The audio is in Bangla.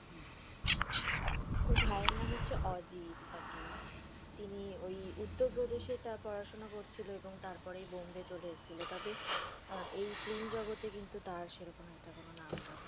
ওর ভাই এর নাম হচ্ছে অজিত আর কি তিনি ওই উত্তরপ্রদেশ এ তার পড়াশোনা করছিলো এবং তারপরে বোম্বে চলে এসেছিলো তবে এই film জগতে কিন্তু তার সেই রকম কোনো একটা নামডাক নেই।